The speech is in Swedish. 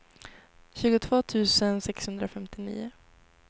tjugotvå tusen sexhundrafemtionio